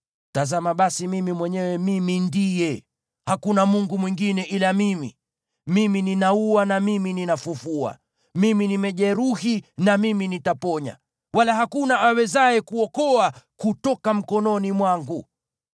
“Tazama basi, Mimi mwenyewe, Mimi Ndiye! Hakuna mungu mwingine ila Mimi. Mimi ninaua na Mimi ninafufua, Mimi nimejeruhi na Mimi nitaponya, wala hakuna awezaye kuokoa kutoka mkononi mwangu.